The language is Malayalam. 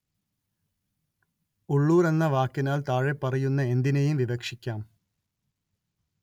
ഉള്ളൂര്‍ എന്ന വാക്കിനാല്‍ താഴെപ്പറയുന്ന എന്തിനേയും വിവക്ഷിക്കാം